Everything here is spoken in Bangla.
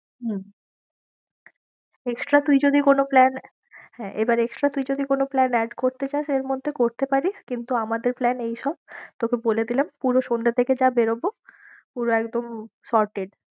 হম extra তুই যদি কোনো plan হ্যাঁ, এবার extra তুই যদি কোনো plan add করতে চাস এর মধ্যে করতে পারিস, কিন্তু আমাদের plan এইসব, তোকে বলে দিলাম পুরো সন্ধ্যে থেকে যা বেরোবো পুরো একদম shorted